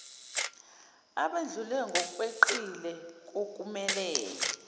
abedlule ngokweqile kokumele